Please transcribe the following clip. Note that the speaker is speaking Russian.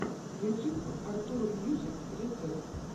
ютьюб артур мьюзик рецепт